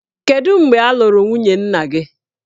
Kedu mgbe a lụrụ nwunye nna gị?